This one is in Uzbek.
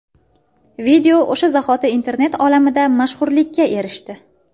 Video o‘sha zahoti internet olamida mashhurlikka erishdi.